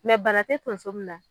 bana tɛ tunso min na.